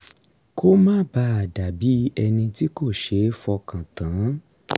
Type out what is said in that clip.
kó má bàa dà bí ẹni tí kò ṣeé fọkàn tán